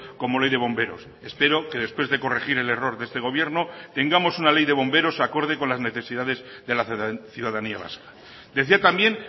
como ley de bomberos espero que después de corregir el error de este gobierno tengamos una ley de bomberos acorde con las necesidades de la ciudadanía vasca decía también